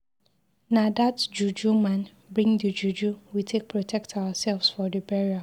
Na dat juju man bring the juju we take protect ourselves for the burial.